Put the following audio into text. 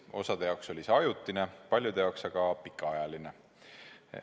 Osa jaoks on see olnud ajutine, paljude jaoks aga pikaajaline.